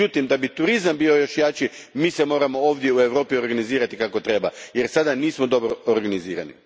Međutim, da bi turizam bio još jači mi se moramo ovdje u Europi organizirati kako treba jer sada nismo dobro organizirani.